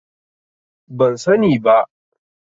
Ban sani ba.